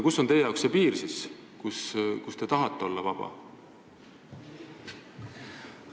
Kus on teie jaoks see piir, kus te tahate olla vaba?